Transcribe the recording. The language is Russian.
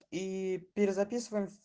и перезаписываем